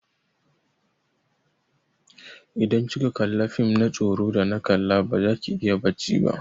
Idan kika kalla fim na tsoro da na kalla baza ki iya bacci ba.